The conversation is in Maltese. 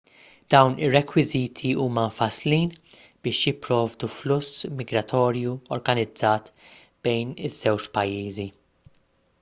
dawn ir-rekwiżiti huma mfasslin biex jipprovdu fluss migratorju organizzat bejn iż-żewġ pajjiżi